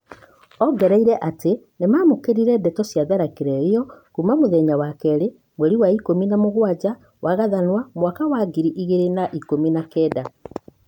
Ongereire atĩ nĩ mamũkĩrire ndeto cia tharĩkĩra ĩyo kuma mũthenya wa keri mweri ikũmi na mũgwanja wa Gathathanwa mwaka wa ngiri igĩrĩ na ikũmi na kenda.